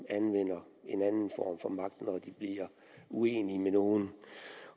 anvender en anden form for magt når de bliver uenige med nogen